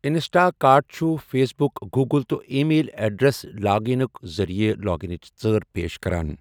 Insta cart چھُ Facebook, Google, تہٕ email address لاگ انٕک ذٔریعہٕ لاگانٕچ ژٲر پیش کران۔